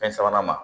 Fɛn sabanan ma